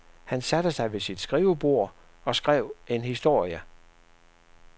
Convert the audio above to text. Han satte sig ved sit skrivebord og skrev en historie.